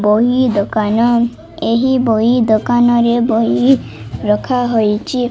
ବହି ଦୋକାନ ଏହି ବହି ଦୋକାନ ରେ ବହି ରଖାହୋଇଚି